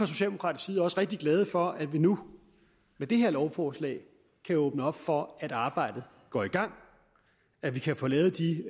socialdemokraterne også rigtig glade for at vi nu med det her lovforslag kan åbne op for at arbejdet går i gang at vi kan få lavet de